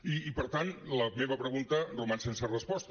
i per tant la meva pregunta roman sense resposta